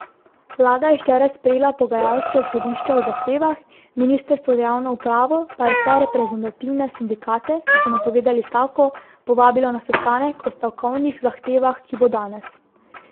Vlada je včeraj sprejela pogajalska izhodišča o zahtevah, ministrstvo za javno upravo pa je vse reprezentativne sindikate, ki so napovedali stavko, povabilo na sestanek o stavkovnih zahtevah, ki bo danes.